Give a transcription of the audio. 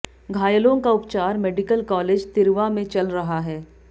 घायलों का उपचार मेडिकल कालेज तिर्वा में चल रहा है